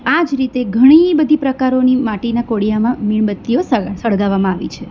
આ જ રીતે ઘણી બધી પ્રકારોની માટીના કોડિયામાં મીણબત્તીઓ સગ સળગાવવામાં આવી છે.